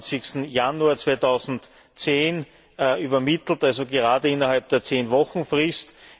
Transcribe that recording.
27. Januar 2010, übermittelt, also gerade innerhalb der Zehn Wochen Frist.